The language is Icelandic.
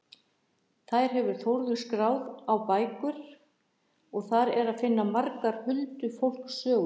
Þær hefur Þórður skráð á bækur og þar er að finna margar huldufólkssögur.